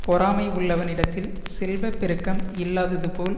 பொறாமை உள்ளவனிடத்தில் செல்வ பெருக்கம் இல்லாததுபோல்